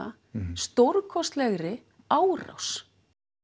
stórkostlegri árás